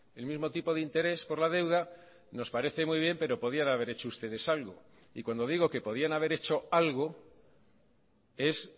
el mismo tipo de interés por la deuda nos parece muy bien pero podían haber hecho ustedes algo y cuando digo que podían haber hecho algo es